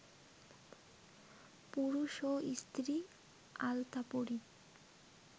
পুরুষ ও স্ত্রী আলতাপরি